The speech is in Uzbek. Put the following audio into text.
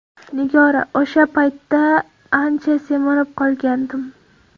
Nigora: O‘sha paytda ancha semirib qolgandim.